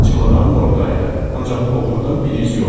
Çimadanım orada idi, ancaq oğrudan bir iz yoxdu.